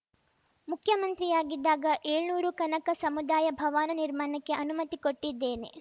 ಮುಖ್ಯಮಂತ್ರಿಯಾಗಿದ್ದಾಗ ಏಳ್ನೂರು ಕನಕ ಸಮುದಾಯ ಭವನ ನಿರ್ಮಾಣಕ್ಕೆ ಅನುಮತಿ ಕೊಟ್ಟಿದ್ದೇನೆ